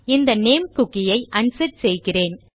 இந்த name cookie ஐ unset செய்கிறேன்